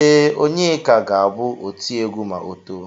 Ee, Onyeka ga-abụ otiegwu ma o too.